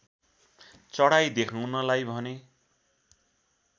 चढाई देखाउनलाई भने